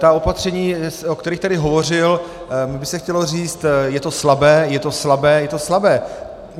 Ta opatření, o kterých tady hovořil, mně by se chtělo říct: je to slabé, je to slabé, je to slabé.